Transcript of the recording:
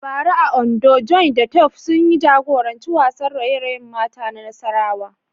A bara a Ondo, Joy da Tope sun jagoranci wasan raye-rayen mata na nasara.